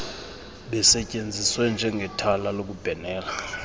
basetyenziswe njengethala lokubhenela